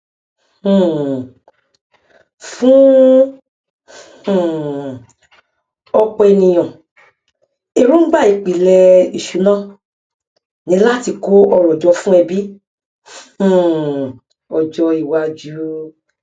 um fún um ọpọ ènìyàn èròngbà ìpìlẹ ìṣúná ni láti kó ọrọ jọ fún ẹbí um ọjọ iwájú